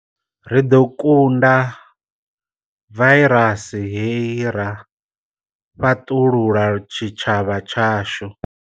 Ri ḓo kunda vairasi hei ra fhaṱulula tshitshavha tshashu.